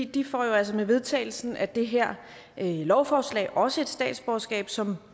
de får jo altså med vedtagelsen af det her lovforslag også et statsborgerskab som